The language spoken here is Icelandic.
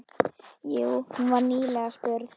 Jú, hún var nýlega spurð.